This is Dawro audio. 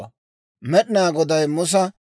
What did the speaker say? Med'inaa Goday Musa,